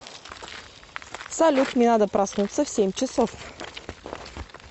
салют мне надо проснуться в семь часов